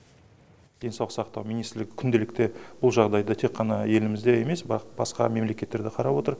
денсаулық сақтау министрлігі күнделікті бұл жағдайды тек қана елімізде емес басқа мемлекеттер де қарап отыр